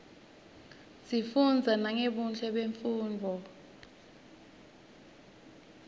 sifunza nangebuhle bemnfundzo